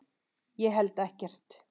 Ég held ekkert.